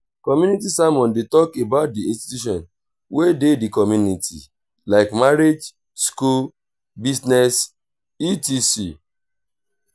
community sermon de talk about di institutions wey de di community like marriage school business etc.